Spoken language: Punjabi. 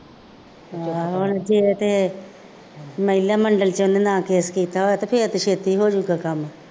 ਹਾਂ ਹੁਣ ਜੇ ਤੇ ਮਹਿਲਾ ਮੰਡਲ ਚ ਉਹਨੇ ਨਾ ਕੇਸ ਕੀਤਾ ਹੋਇਆਂ ਤਾਂ ਫੇਰ ਤੇ ਛੇਤੀ ਹੋ ਜਾਊਗਾ ਕੰੰਮ